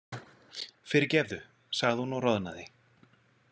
Fyrirgefðu, sagði hún og roðnaði.